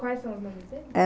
Quais são as mães deles?